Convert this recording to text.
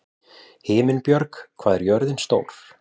Himinbjörg, hvað er jörðin stór?